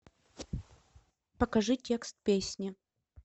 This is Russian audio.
покажи текст песни